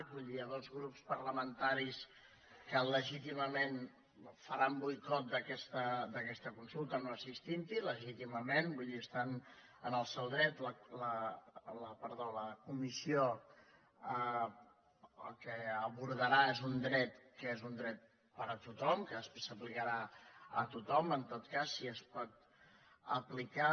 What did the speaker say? vull dir hi ha dos grups parlamentaris que legítimament faran boicot d’aquesta consulta no assistint·hi legíti·mament vull dir estan en el seu dret la part de la comissió el que abordarà és un dret que és un dret per a tothom que s’aplicarà a tothom en tot cas si es pot aplicar